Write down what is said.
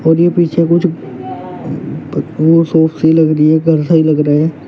ये पीछे कुछ शॉप सी लग रही है घर सा ही लग रहा है।